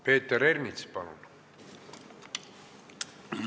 Peeter Ernits, palun!